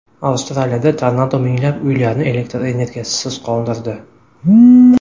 Avstraliyada tornado minglab uylarni elektr energiyasisiz qoldirdi.